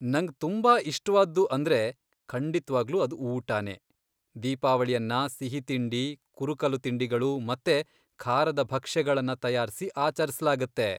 ನಂಗ್ ತುಂಬಾ ಇಷ್ಟ್ವಾದ್ದು ಅಂದ್ರೆ, ಖಂಡಿತ್ವಾಗ್ಲೂ ಅದು ಊಟನೇ. ದೀಪಾವಳಿಯನ್ನ ಸಿಹಿತಿಂಡಿ, ಕುರುಕಲು ತಿಂಡಿಗಳು ಮತ್ತೆ ಖಾರದ ಭಕ್ಷ್ಯಗಳನ್ನ ತಯಾರ್ಸಿ ಆಚರಿಸ್ಲಾಗತ್ತೆ.